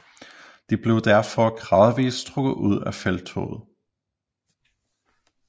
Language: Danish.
De blev derfor gradvis trukket ud af felttoget